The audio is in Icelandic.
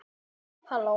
Örn brosti út í annað.